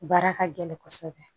Baara ka gɛlɛn kosɛbɛ